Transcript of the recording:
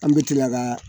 An bɛ tila ka